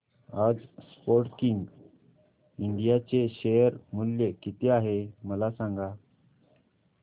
आज Sportking India चे share मूल्य किती आहे मला सांगा